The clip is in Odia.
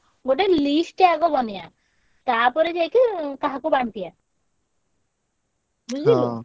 ଗୋଟେ list ଟେ ଆଗ ବନେଇଆ। ତାପରେ ଯାଇକି କାହାକୁ ବାଣ୍ଟିଆ। ବୁଝିଲୁ ।